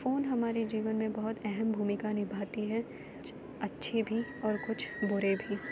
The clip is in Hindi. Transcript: फोन हमारे जीवन में बहुत अहम भूमिका निभाती है। कुछ अच्छे भी और कुछ बुरे भी।